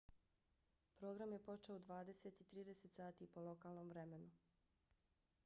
program je počeo u 20:30 sati po lokalnom vremenu 15:00 utc